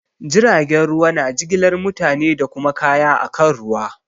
Jiragen ruwa na jigilar mutane da kuma kaya akan ruwa.